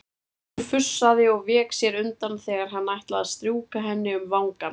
Hún fussaði og vék sér undan þegar hann ætlaði að strjúka henni um vangann.